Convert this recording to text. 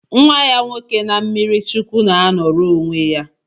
Nwa ya nwoke na mmirichukwu na anoro onwe ya